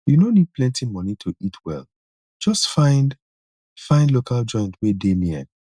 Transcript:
you no need plenty money to eat well just find find local joint wey dey near